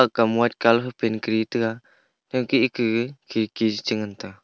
kam white colour fai paint kari tega ta ke eki khirki chengan ta.